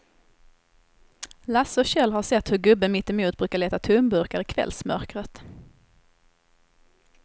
Lasse och Kjell har sett hur gubben mittemot brukar leta tomburkar i kvällsmörkret.